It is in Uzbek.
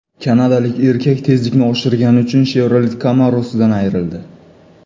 Kanadalik erkak tezlikni oshirgani uchun Chevrolet Camaro‘sidan ayrildi.